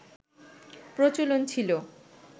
প্রচলন ছিল